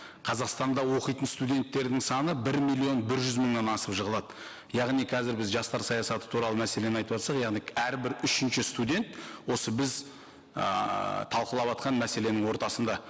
қазақстанда оқитын студенттердің саны бір миллион бір жүз мыңнан асып жығылады яғни қазір біз жастар саясаты туралы мәселені айтыватсақ яғни әрбір үшінші студент осы біз ыыы талқылаватқан мәселенің ортасында